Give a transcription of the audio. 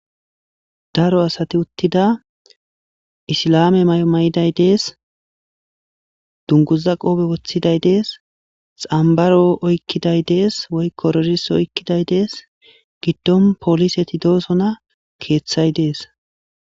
daro asati uttida isila7aame may7o may7iday dees dunguza qoobe woththiday dees xambaro oykkiday dees woy korolis oykkiday dees giddon pooliseti doosona keeththay dees